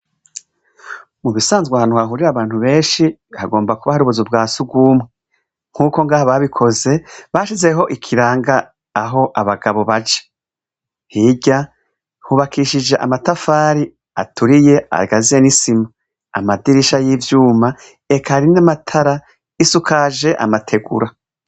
Mu bisanzwa hantu hahurira abantu benshi kagomba kuba hari ubuzi bwa si ugumwe nk'uko ngaha babikoze bashizeho ikiranga aho abagabo baje hirya hubakishije amatafari aturiye agazye n'isimu amadirisha y'ivyuma ekari n'amatara isuka aje amategura.